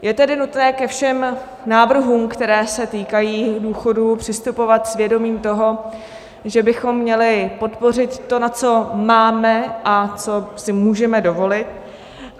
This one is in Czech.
Je tedy nutné ke všem návrhům, které se týkají důchodů, přistupovat s vědomím toho, že bychom měli podpořit to, na co máme a co si můžeme dovolit.